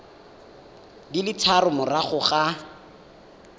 di le tharo morago ga